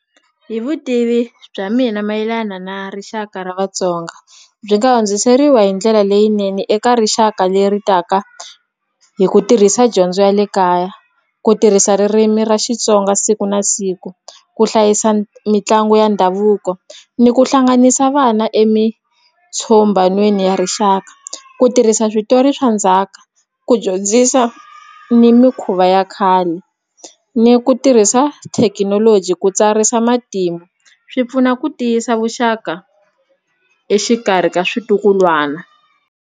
Hi vutivi bya mina mayelana na rixaka ra Vatsonga byi nga hundziseriwa hi ndlela leyinene eka rixaka leri taka hi ku tirhisa dyondzo ya le kaya ku tirhisa ririmi ra Xitsonga siku na siku ku hlayisa mitlangu ya ndhavuko ni ku hlanganisa vana emitshombhanweni ya rixaka ku tirhisa switori swa ndzhaka ku dyondzisa ni mikhuva ya khale ni ku tirhisa thekinoloji ku tsarisa matimba swi pfuna ku tiyisa vuxaka exikarhi ka swintukulwana.